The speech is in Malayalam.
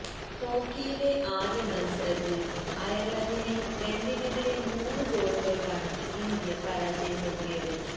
ഹോക്കിയിലെ ആദ്യ മത്സരത്തില് അയര്ലന്ഡിനെ രണ്ടിനെതിരേ മൂന്നു ഗോളുകള്ക്കാണ് ഇന്ത്യ പരാജയപ്പെടുത്തിയത്